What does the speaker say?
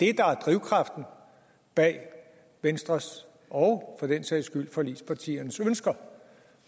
er drivkraften bag venstres og for den sags skyld forligspartiernes ønsker